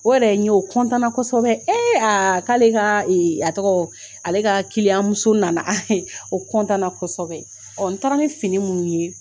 O yɛrɛ ye n ye, o kɔntanna kosɛbɛ ee aa k'ale ka ee a tɔgɔ ale ka kiliyan muso nana O kɔntanna kosɛbɛ ,ɔɔ n taara ni fini munnu ye